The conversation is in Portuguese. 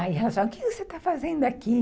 Aí elas falaram, o que você está fazendo aqui?